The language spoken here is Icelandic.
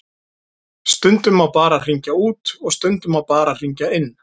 Stundum má bara hringja út og stundum má bara hringja inn.